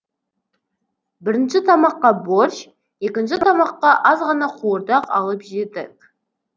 бірінші тамаққа борщ екінші тамаққа азғана қуырдақ алып жедік